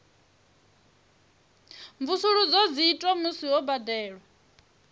mvusuludzo dzi itwa musi ho badelwa